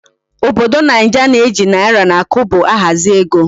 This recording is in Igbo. Obodo naija na eji naira na Kobo ahazi ego